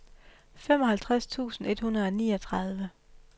femoghalvtreds tusind et hundrede og niogtredive